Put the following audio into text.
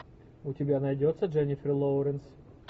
у тебя найдется дженнифер лоуренс